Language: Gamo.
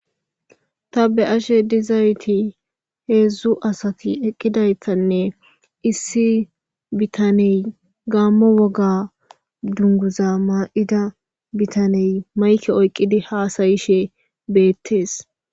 Ta be'ashe dizayti heezzu asati eqqidaytanne issi bitaney gaammo woga dunguza maayida bitaney mayike oyqqidi haasayishe beettees.